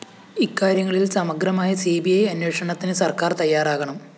ഇക്കാര്യങ്ങളില്‍ സമഗ്രമായ C B I അന്വേഷണത്തിന് സര്‍ക്കാര്‍ തയ്യാറാകണം